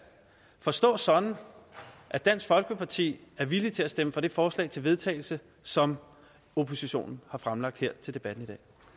forstås sådan at dansk folkeparti er villig til at stemme for det forslag til vedtagelse som oppositionen har fremsat her under debatten